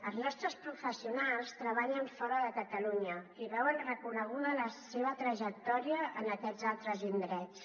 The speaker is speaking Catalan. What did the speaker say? els nostres professionals treballen fora de catalunya i veuen reco·neguda la seva trajectòria en aquests altres indrets